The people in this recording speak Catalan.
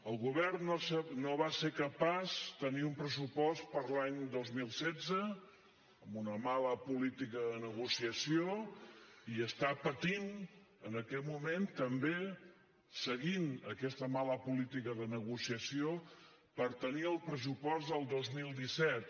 el govern no va ser capaç de tenir un pressupost per a l’any dos mil setze amb una mala política de negociació i està patint en aquest moment també seguint aquesta mala política de negociació per tenir el pressupost del dos mil disset